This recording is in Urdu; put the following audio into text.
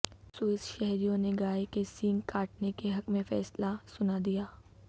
سوئس شہریوں نے گائے کے سینگ کاٹنے کے حق میں فیصلہ سنا دیا